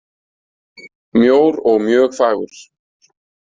Mjór og mjög fagur.